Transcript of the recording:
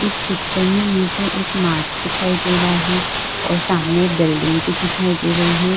इस पिक्चर में मुझे एक मार्ट दिखाई दे रहा है और सामने बिल्डिंग भी दिखाई दे रही है।